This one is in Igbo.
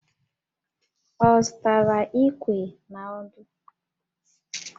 Ọ zụtara Íkwè na ọ́dụ́?